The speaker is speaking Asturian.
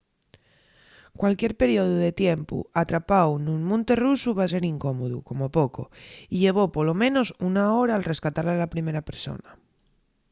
cualquier periodu de tiempu atrapáu nun monte rusu va ser incómodu como poco y llevó polo menos una hora’l rescatar a la primer persona.